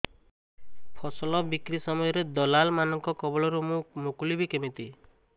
ଫସଲ ବିକ୍ରୀ ସମୟରେ ଦଲାଲ୍ ମାନଙ୍କ କବଳରୁ ମୁଁ ମୁକୁଳିଵି କେମିତି